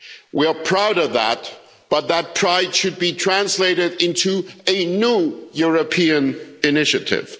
We are proud of that, but that pride should be translated into a new European initiative.